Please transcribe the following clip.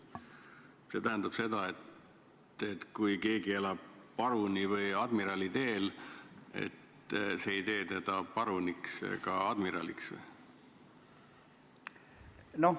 Kas see tähendab seda, et kui keegi elab Paruni või Admirali teel, siis ei tee see teda veel paruniks ega admiraliks?